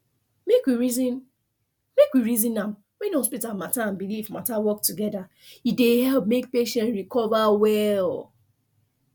make we reason make we reason am when hospital matter and belief matter work together e dey help make patient recover well